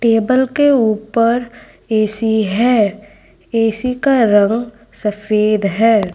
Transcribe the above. Table के ऊपर AC है। ए_सी का रंग सफेद है।